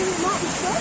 Bilmirəm nə açmışlar?